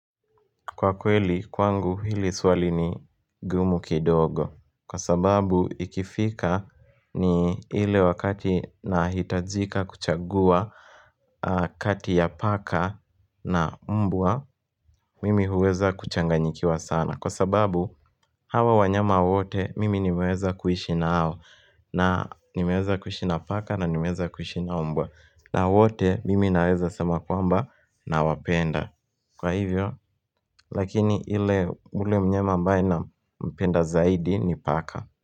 Kwa kweli kwangu hili swali ni gumu kidogo Kwa sababu ikifika ni ile wakati nahitajika kuchagua kati ya paka na mbwa Mimi huweza kuchanganyikiwa sana Kwa sababu hawa wanyama wote mimi nimeweza kuishi nao na nimeweza kuishi na paka na nimeweza kuishi na mbwa na wote mimi naweza sema kwamba nawapenda Kwa hivyo, lakini ile ule mnyama ambae nampenda zaidi ni paka.